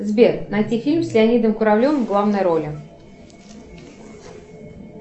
сбер найти фильм с леонидом куравлевым в главной роли